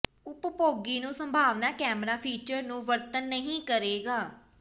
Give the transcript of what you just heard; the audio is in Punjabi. ਉਪਭੋਗੀ ਨੂੰ ਸੰਭਾਵਨਾ ਕੈਮਰਾ ਫੀਚਰ ਨੂੰ ਵਰਤਣ ਨਹੀ ਕਰੇਗਾ